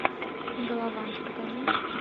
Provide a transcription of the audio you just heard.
галавант покажи